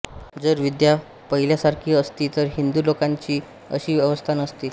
जर विद्या पहिल्यासारखी असती तर हिंदू लोकांची अशी अवस्था न होती